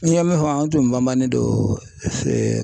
N ye min fɔ an tun banbannen don